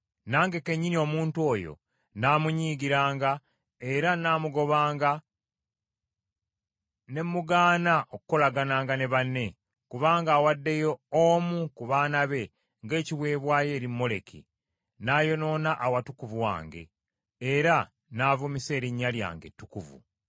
Nange kennyini, omuntu oyo nnaamunyiigiranga, era nnaamugobanga ne mmugaana okukolagananga ne banne, kubanga awaddeyo omu ku baana be ng’ekiweebwayo eri Moleki, n’ayonoona Awatukuvu wange era n’avumisa erinnya lyange ettukuvu.